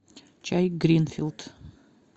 чай гринфилд